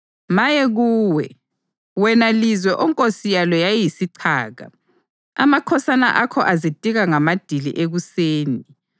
Maye kuwe, wena lizwe onkosi yalo yayiyisichaka, amakhosana akho azitika ngamadili ekuseni.